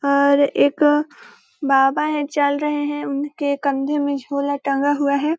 और एक बाबा है चल रहे हैं उनके कंधे में झोला टंगा हुआ है।